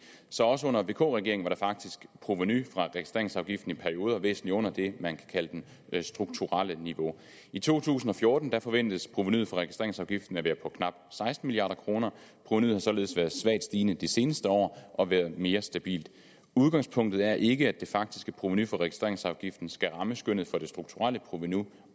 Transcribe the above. så også under vk regeringen var provenuet fra registreringsafgiften faktisk i perioder væsentligt under det man kan kalde det strukturelle niveau i to tusind og fjorten forventes provenuet for registreringsafgiften at være på knap seksten milliard kroner provenuet har således været svagt stigende de seneste år og været mere stabilt udgangspunktet er ikke at det faktiske provenu for registreringsafgiften skal ramme skønnet for det strukturelle provenu